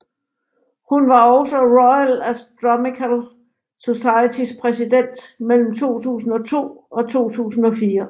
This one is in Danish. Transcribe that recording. Hun var også Royal Astronomical Societys præsident mellem 2002 og 2004